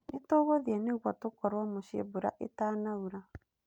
Nĩ tũĩguthe nĩguo tũkorũo mũciĩ mbura ĩtanaura.